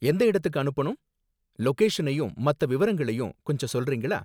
எந்த இடத்துக்கு அனுப்பனும்? லொகேஷனையும் மத்த விவரங்களையும் கொஞ்சம் சொல்றீங்களா?